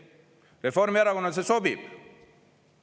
Reformierakonnale see sobib.